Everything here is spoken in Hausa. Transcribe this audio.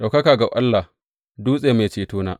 Ɗaukaka ga Allah, Dutse, Mai Cetona!